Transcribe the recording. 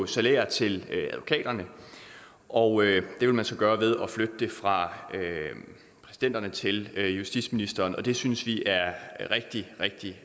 salærer til advokaterne og det vil man så gøre ved at flytte det fra præsidenterne til justitsministeren det synes vi er rigtig rigtig